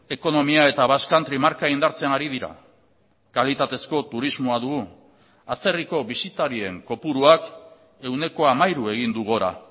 ekonomia eta basque country marka indartzen ari dira kalitatezko turismoa dugu atzerriko bisitarien kopuruak ehuneko hamairu egin du gora